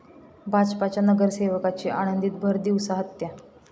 भाजपच्या नगरसेवकाची आळंदीत भरदिवसा हत्या